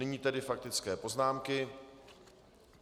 Nyní tedy faktické poznámky.